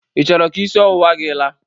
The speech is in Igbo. Ị chọrọ ka isi ọwụwa gị laa?